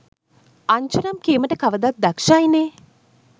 අන්ජනම් කීමට කවදත් දක්ශයිනෙ.